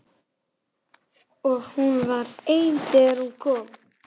Og hún var ein þegar hún kom.